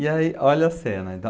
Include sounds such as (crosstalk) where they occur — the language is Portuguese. E aí, olha a cena. (unintelligible)